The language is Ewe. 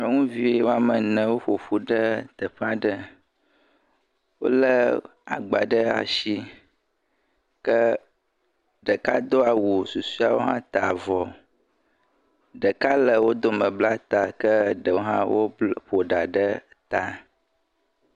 Nyɔnuvi woame ene woƒo ƒu ɖe teƒe aɖe, wolé agba ɖe asi, ke ɖekado awu, susɔewo hã ta avɔ, ɖeka le wo dome bla ta, ke ɖewo hã woƒo ɖa ɖe ta.